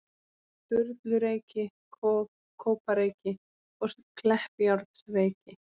Sturlureyki, Kópareyki og Kleppjárnsreyki.